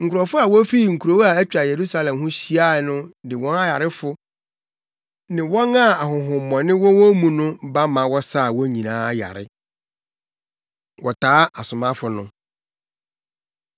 Nkurɔfo a wofifi nkurow a atwa Yerusalem ho ahyia no de wɔn ayarefo ne wɔn a ahonhommɔne wɔ wɔn mu no ba ma wɔsaa wɔn nyinaa yare. Wɔtaa Asomafo No